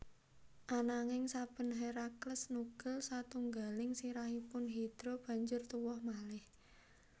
Ananging saben Herakles nugel satunggaling sirahipun Hidra banjur tuwuh malih